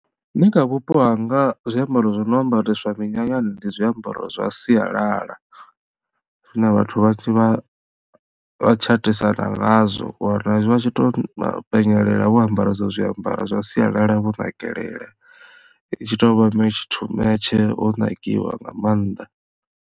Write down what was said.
Nṋe kha vhupo hanga zwiambaro zwi no ambaresiwa minyanyani ndi zwiambaro zwa sialala zwine vhathu vhanzhi vha tshatisana ngazwo wa wana vha tshi to penyelela vho ambara ezwo zwiambaro zwa sialala vho nakelela i tshi to vha metshe to metshe ho nakiwa nga maanḓa.